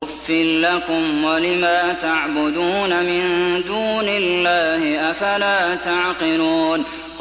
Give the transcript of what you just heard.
أُفٍّ لَّكُمْ وَلِمَا تَعْبُدُونَ مِن دُونِ اللَّهِ ۖ أَفَلَا تَعْقِلُونَ